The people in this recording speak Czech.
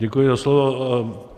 Děkuji za slovo.